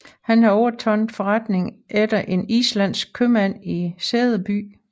Han havde overtaget forretningen efter en islandsk købmand i Sæby